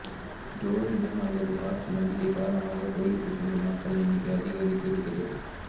ஜோதிடம் அல்லது வாஸ்து நம்பிக்கை காரணமாக கோவில்களுக்கு செல்லும் மக்கள் எண்ணிக்கை அதிகரித்திருக்கிறது